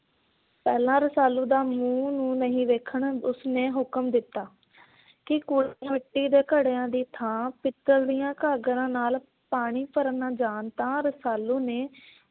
ਪਹਿਲਾਂ ਰਸਾਲੂ ਦਾ ਮੂੰਹ ਵੀ ਨਹੀਂ ਦੇਖਣਾ ਉਸਨੇ ਹੁਕਮ ਦਿੱਤਾ ਕੀ ਕੋਈ ਮਿੱਟੀ ਦੇ ਘੜਿਆ ਦੀ ਥਾਂ ਪਿੱਤਲ ਦੀਆਂ ਗਾਗਰਾਂ ਨਾਲ ਪਾਣੀ ਭਰਨ ਜਾਣ ਤਾਂ ਰਸਾਲੂ ਨੇ